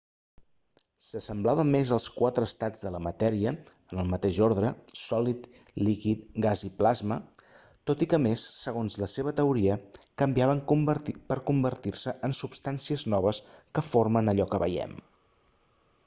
s'assemblava més als quatre estats de la matèria en el mateix ordre: sòlid líquid gas i plasma tot i què a més segons la seva teoria canviaven per convertir-se en substàncies noves que formen allò que veiem